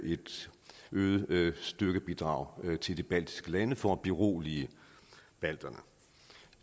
et øget øget styrkebidrag til de baltiske lande for at berolige balterne